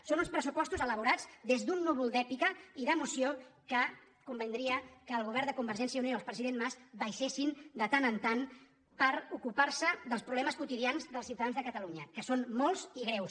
són uns pressupostos elaborats des d’un núvol d’èpica i d’emoció del qual convindria que el govern de convergència i unió i el president mas baixessin de tant en tant per ocupar·se dels problemes quotidians dels ciutadans de catalu·nya que són molts i greus